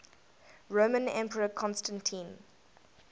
roman emperor constantine